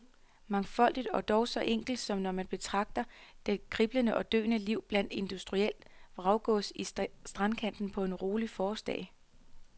Mangfoldigt og dog så enkelt som når man betragter det kriblende og døende liv blandt industrielt vraggods i strandkanten på en rolig forårsdag.